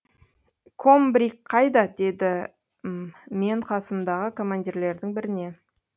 комбриг қайда дедім мен қасымдағы командирлердің біріне